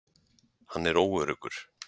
Hann er óöruggur.